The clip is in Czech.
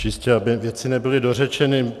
Čistě aby věci nebyly dořečeny.